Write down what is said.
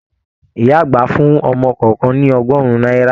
Ìyá àgbà fún ọmọ kọọkan ní ọgọrùn náírà.